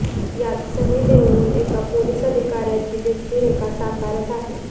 यात सनी देओल एका पोलीस अधिकाऱ्याची व्यक्तिरेखा साकारत आहे